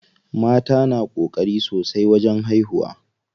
Mata na ƙokari sosai wajen haihuwa.